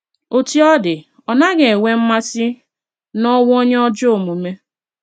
Otú ọ dị ,Ọ naghi enwe mmasi n'onwụ onye ajọ omume